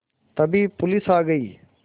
तभी पुलिस आ गई